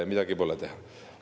Midagi pole teha.